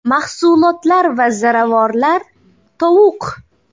Mahsulotlar va ziravorlar Tovuq.